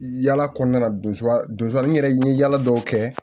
Yala kɔnɔna don sariy yɛrɛ n ye yala dɔw kɛ